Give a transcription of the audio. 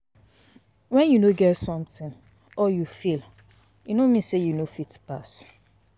wen you no get something or you fail, e no mean say you no fit pass.